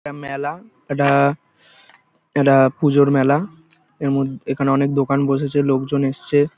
একটা মেলা-আ এটা এটা পুজোর মেলা। এর মধ এখানে অনেক দোকান বসেছে লোকজন এসছে।